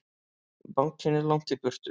Bankinn er langt í burtu.